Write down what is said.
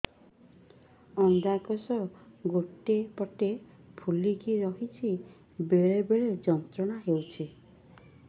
ଅଣ୍ଡକୋଷ ଗୋଟେ ପଟ ଫୁଲିକି ରହଛି ବେଳେ ବେଳେ ଯନ୍ତ୍ରଣା ହେଉଛି